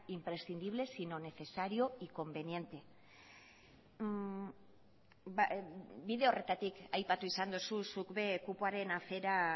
imprescindible sino necesario y conveniente bide horretatik aipatu izan duzu zuk be kupoaren afera